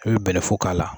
I bɛ bɛlɛfo k'a la